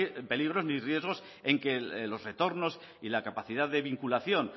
peligros ni riesgos en que los retornos y la capacidad de vinculación